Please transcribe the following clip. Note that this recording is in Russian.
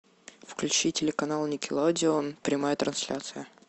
включи телеканал никелодеон прямая трансляция